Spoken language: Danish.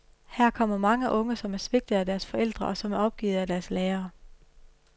Her kommer mange unge som er svigtet af deres forældre og som er opgivet af deres lærere.